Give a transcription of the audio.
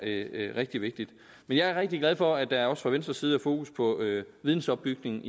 rigtig vigtigt men jeg er rigtig glad for at der også fra venstres side er fokus på vidensopbygning